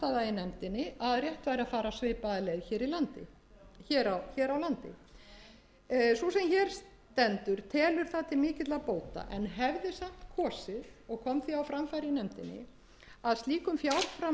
nefndinni að rétt væri að fara svipaða leið hér á landi sú sem hér stendur telur það til mikilla bóta en hefði samt kosið og kom því á framfæri í nefndinni að slíkum fjárframlögum væri ætlað